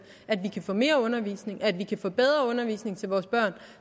at vi kan få mere undervisning og at vi kan få bedre undervisning til vores børn